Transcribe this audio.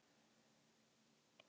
Hann fór henni vel.